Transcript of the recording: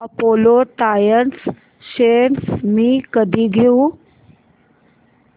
Apollo tyres shares मी कधी घेऊ